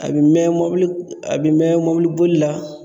A bɛ mɛn mɔbili, a bɛ mɛn mɔbili bolila